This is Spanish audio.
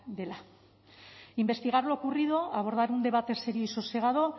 dela investigar lo ocurrido abordar un debate serio y sosegado